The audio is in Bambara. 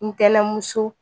N tɛnɛn muso